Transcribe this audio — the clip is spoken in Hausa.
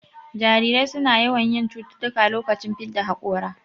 Jarirai suna yawan yin cututtuka lokacin fidda haƙora